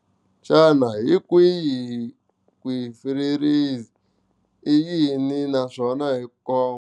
Xana hi kwihi kwihi ku hisiwa freezer i yini naswona hi ku nkoka.